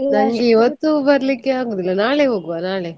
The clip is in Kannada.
ನಂಗೆ ಇವತ್ತು ಬರಲಿಕ್ಕೆ ಆಗುದಿಲ್ಲ ನಾಳೆ ಹೋಗ್ವಾ ನಾಳೆ.